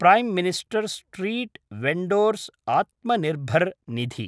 Prime minister street vendor's Atmanirbhar Nidhi